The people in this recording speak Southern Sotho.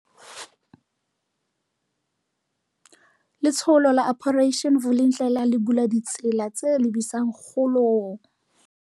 Letsholo la Operation Vulindlela le bula ditsela tse lebisang kgolong